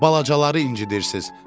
Balacaları incidirsiniz.